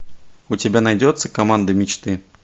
у тебя найдется команда мечты